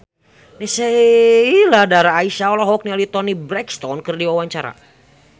Sheila Dara Aisha olohok ningali Toni Brexton keur diwawancara